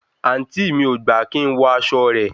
àǹtí mi ò gbà kí n wọ aṣọ rẹ̀